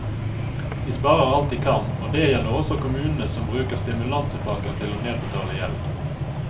De sparer alt de kan, og det gjelder også kommunene som bruker stimulansepakker til å nedbetale gjeld.